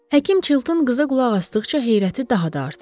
Həkim Chilton qıza qulaq asdıqca heyrəti daha da artırırdı.